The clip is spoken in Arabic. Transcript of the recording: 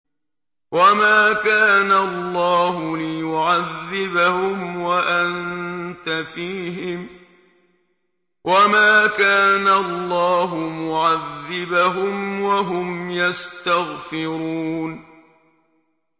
وَمَا كَانَ اللَّهُ لِيُعَذِّبَهُمْ وَأَنتَ فِيهِمْ ۚ وَمَا كَانَ اللَّهُ مُعَذِّبَهُمْ وَهُمْ يَسْتَغْفِرُونَ